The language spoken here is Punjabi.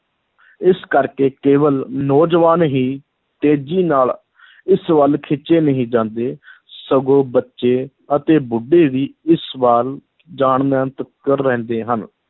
ਇਸ ਕਰਕੇ ਕੇਵਲ ਨੌਜਵਾਨ ਹੀ ਤੇਜ਼ੀ ਨਾਲ ਇਸ ਵੱਲ ਖਿੱਚੇ ਨਹੀਂ ਜਾਂਦੇ ਸਗੋਂ ਬੱਚੇ ਅਤੇ ਬੁੱਢੇ ਵੀ ਇਸ ਵੱਲ ਜਾਣ ਰਹਿੰਦੇ ਹਨ,